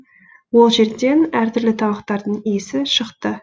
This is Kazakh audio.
ол жерден әртүрлі тамақтардың иісі шықты